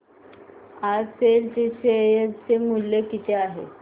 आज सेल चे शेअर चे मूल्य किती आहे